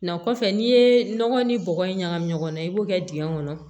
Na kɔfɛ n'i ye nɔgɔ ni bɔgɔ in ɲagami ɲɔgɔn na i b'o kɛ dingɛ kɔnɔ